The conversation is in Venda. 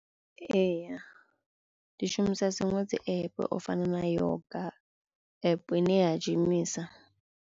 Ee ndi shumisa dziṅwe dzi app o fana na yoga app i ne ya gimisa.